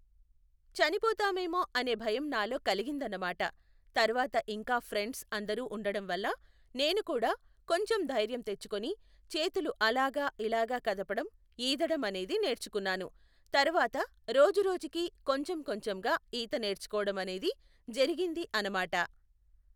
చనిపోతామేమో అనే భయం నాలో కలిగిందన్నమాట, తర్వాత ఇంకా ఫ్రెండ్స్ అందరూ ఉండడం వల్ల నేను కూడా కొంచెం ధైర్యం తెచ్చుకొని చేతులు అలాగా ఇలాగా కదపడం ఈదడం అనేది నేర్చుకున్నాను. తర్వాత రోజు రోజుకి కొంచెం కొంచంగా ఈత నేర్చుకోవడం అనేది జరిగింది అనమాట.